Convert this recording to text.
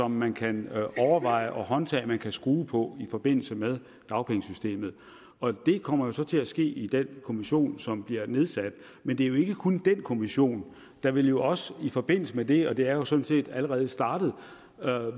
man kan overveje og håndtag man kan skrue på i forbindelse med dagpengesystemet og det kommer jo så til at ske i den kommission som bliver nedsat men det er jo ikke kun den kommission der vil jo også i forbindelse med det og det er jo sådan set allerede startet